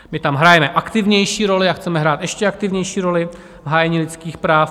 My tam hrajeme aktivnější roli a chceme hrát ještě aktivnější roli v hájení lidských práv.